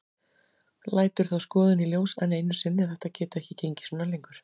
Lætur þá skoðun í ljós enn einu sinni að þetta geti ekki gengið svona lengur.